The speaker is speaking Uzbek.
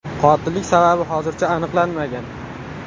Qotillik sababi hozircha aniqlanmagan.